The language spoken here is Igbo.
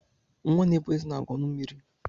Nwa n'epụ eze na-agu ọnụ mmiri.